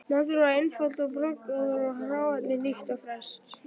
Maturinn var einfaldur og bragðgóður og hráefnið nýtt og ferskt.